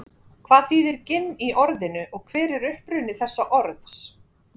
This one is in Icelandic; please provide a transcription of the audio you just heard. Hvað þýðir ginn í orðinu og hver er uppruni þessa orðs?